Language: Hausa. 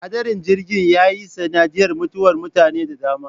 Hadarin jirgin ya yi sanadiyar mutuwar mutane da dama.